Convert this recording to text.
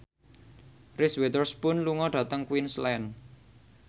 Reese Witherspoon lunga dhateng Queensland